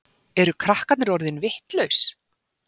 Eru krakkarnir orðin vitlaus?